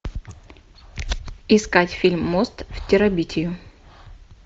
искать фильм мост в терабитию